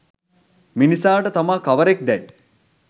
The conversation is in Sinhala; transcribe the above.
මිනිසාට තමා කවරෙක් දැයි